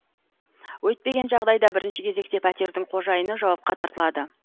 өйтпеген жағдайда бірінші кезекте пәтердің қожайыны жауапқа тартылады